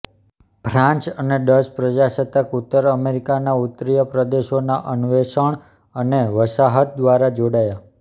France અને Dutch પ્રજાસત્તાક ઉત્તર અમેરિકાના ઉત્તરીય પ્રદેશોના અન્વેષણ અને વસાહત દ્વારા જોડાયા